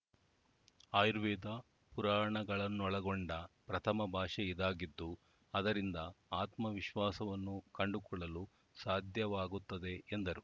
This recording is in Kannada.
ಆಯುರ್ವೇದ ಪುರಾಣಗಳನ್ನೊಳಗೊಂಡ ಪ್ರಥಮ ಭಾಷೆ ಇದಾಗಿದ್ದು ಅದರಿಂದ ಆತ್ಮವಿಶ್ವಾಸವನ್ನು ಕಂಡುಕೊಳ್ಳಲು ಸಾಧ್ಯವಾಗುತ್ತದೆ ಎಂದರು